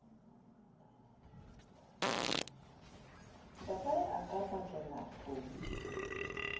ntatae a ka bakela hlomi